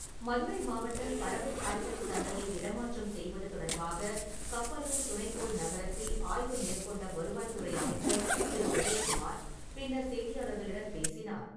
மதுரை மாவட்டம் பறவை காய்கறி சந்தையை இடமாற்றம் செய்வது தொடர்பாக கப்பலூர் துணைக்கோள் நகரத்தில் ஆய்வு மேற்கொண்ட வருவாய்த்துறை அமைச்சர் திரு. உதயக்குமார், பின்னர் செய்தியாளர்களிடம் பேசினார்.